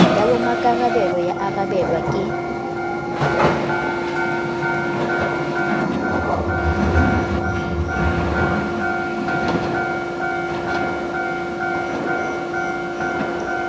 ya bommakarabelo ya arabelwa ke